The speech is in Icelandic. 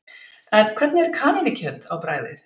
En hvernig er kanínukjöt á bragðið?